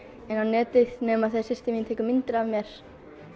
inn á netið nema þegar systir mín tekur myndir af mér